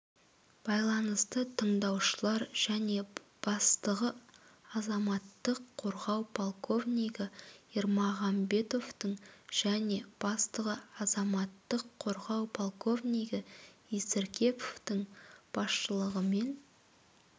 байланысты тыңдаушылар және бастығы азаматтық қорғау полковнигі ермағамбетовтың және бастығы азаматтық қорғау полковнигі есіркеповтың басшылығымен